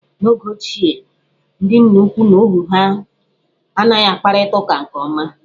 N'oge ochie, ndị nna ukwu na ohu ha anaghị akparịta uka nke ọma.